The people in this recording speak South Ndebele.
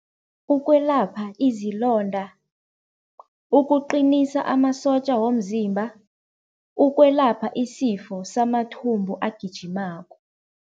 Ukwelapha izilonda, ukuqinisa amasotja womzimba, ukwelapha isifo samathumbu agijimako.